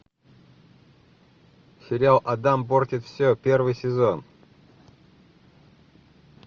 сериал адам портит все первый сезон